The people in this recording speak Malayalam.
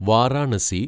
വാരാണസി